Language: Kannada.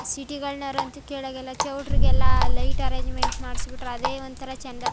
ಸಿಟಿ ಗಳ್ನ್ ವರಂತೂ ಕೇಳೋ ಹಂಗೆ ಇಲ್ಲ ಚೌಲ್ಟ್ರಿಗಳಿಗೆಲ್ಲ ಲೈಟ್ ಅರೇಂಜ್ಮೆಂಟ್ ಮಾಡಿಸಿ ಬಿಟ್ರೆ ಅದೇ ಒಂದು ತರ ಚಂದ .